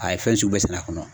A ye fɛn sugu bɛɛ sɛnɛ a kɔnɔ.